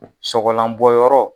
Sɔgɔlanbɔyɔrɔ.